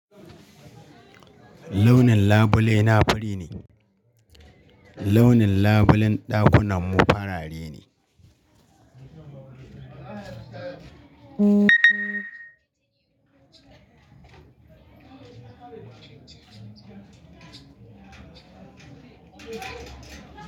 Launin labule na fari ne. Launin labulen ɗakunanmu farare ne.